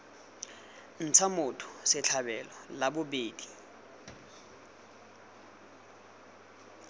ntsha motho setlhabelo la bobedi